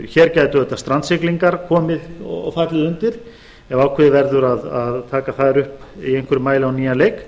hér gætu auðvitað strandsiglingar fallið undir ef ákveðið verður að taka þær upp í einhverjum mæli á nýjan leik